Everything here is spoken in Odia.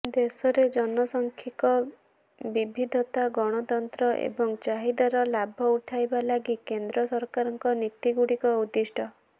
ଦେଶରେ ଜନସାଂଖିକ ବିଭିଦ୍ଧତା ଗଣତନ୍ତ୍ର ଏବଂ ଚାହିଦାର ଲାଭ ଉଠାଇବା ଲାଗି କେନ୍ଦ୍ର ସରକାରଙ୍କ ନୀତିଗୁଡିକ ଉଦ୍ଦିଷ୍ଟ